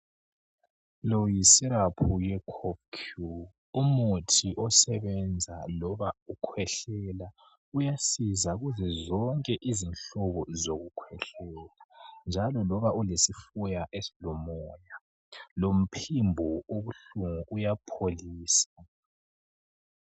Lo yisyrap yo Kof cure umuthi osebenza loba ukhwehlela uyasiza kuzo zonke izinhlungu zokukhwehlela njalo loba ulesifuba esilomoya lomphimbo obuhlungu uyapholisa.